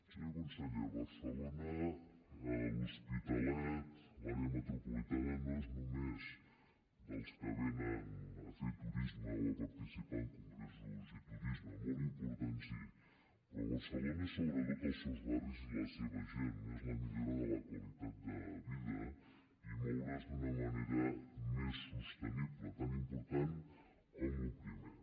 senyor conseller barcelona l’hospitalet l’àrea metropolitana no són només dels que vénen a fer turisme o a participar en congressos i turisme molt important sí però barcelona és sobretot els seus barris i la seva gent és la millora de la qualitat de vida i moure’s d’una manera més sostenible tan important com el primer